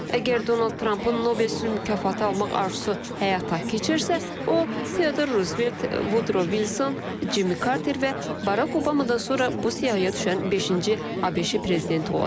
Əgər Donald Trump-ın Nobel sülh mükafatı alma arzusu həyata keçirsə, o Teodor Rusbelt, Vudro Vilson, Cimmi Karter və Barak Obamadan sonra bu siyahıya düşən beşinci ABŞ prezidenti olacaq.